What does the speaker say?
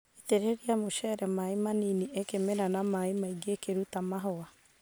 itĩrĩria mũcere maĩ manini ĩkĩmera na maĩ maingĩ ĩkĩruta mahũa.